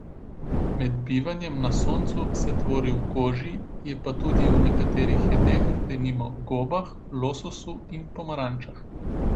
Med bivanjem na soncu se tvori v koži, je pa tudi v nekaterih jedeh, denimo v gobah, lososu in pomarančah.